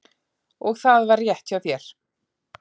Og það var rétt hjá þér.